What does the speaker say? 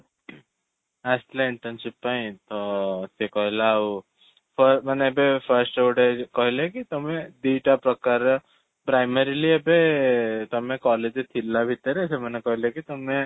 ଆସିଥିଲା internship ପାଇଁ ତ ସେ କହିଲା ଆଉ ମାନେ ଏବେ first ଗୋଟେ କହିଲେ କି ତମେ ଦୁଇଟା ପ୍ରକାରର primarily ଏବେ ତମେ college ରେ ଥିଲା ଭିତରେ ସେମାନେ କହିଲେ କି ତମେ